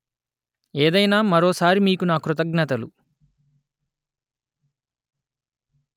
ఏదైనా మరో సారి మీకు నా కృతజ్ఞతలు